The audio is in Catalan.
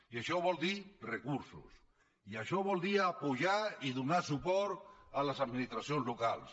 i això vol dir recursos i això vol dir donar su·port a les administracions locals